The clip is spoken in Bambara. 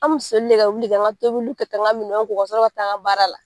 An bi soli de ka wuli k'an ka tobiliw kɛ ka n ka minɛnw ko ka tila ka taa n ka baara la